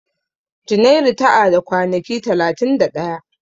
Junairu ta a da kwanaki talatin da ɗaya.